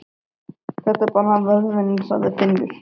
Þetta er bara vöðvinn, sagði Finnur.